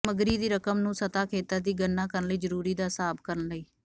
ਸਮੱਗਰੀ ਦੀ ਰਕਮ ਨੂੰ ਸਤ੍ਹਾ ਖੇਤਰ ਦੀ ਗਣਨਾ ਕਰਨ ਲਈ ਜ਼ਰੂਰੀ ਦਾ ਹਿਸਾਬ ਕਰਨ ਲਈ